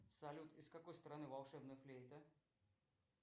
салют из какой страны волшебная флейта